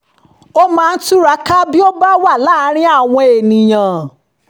ó máa ń túraká bí ó bá wà láàárín àwọn ènìyàn